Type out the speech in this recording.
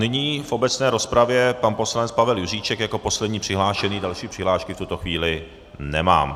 Nyní v obecné rozpravě pan poslanec Pavel Juříček jako poslední přihlášený, další přihlášky v tuto chvíli nemám.